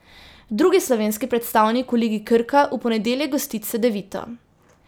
Drugi slovenski predstavnik v ligi Krka v ponedeljek gosti Cedevito.